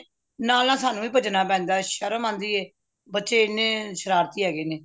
ਨਾਲ ਨਾਲ ਸਾਨੂ ਵੀ ਭੱਜਣਾ ਪੈਂਦਾ ਏ ਸ਼ਰਮ ਆਂਦੀ ਏ ਬੱਚੇ ਹਨ ਸ਼ਰਾਰਤੀ ਹੈਗੇ ਨੇ